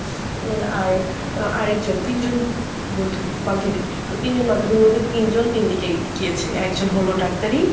উম আর আরেকজন তিনজন বন্ধু বান্ধবী তো তিনজন বান্ধবীর মধ্যে তিনজন তিনদিকেই গিয়েছে, একজন হলো ডাক্তারি